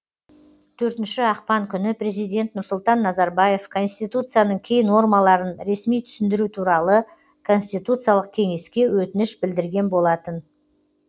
төртінші ақпан күні президент нұрсұлтан назарбаев конституцияның кей нормаларын ресми түсіндіру туралы конституциялық кеңеске өтініш білдірген болатын